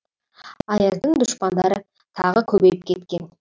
аяздың дұшпандары тағы көбейіп кеткен